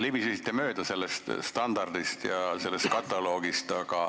Te jah libisesite mööda sellest standardist ja sellest kataloogist.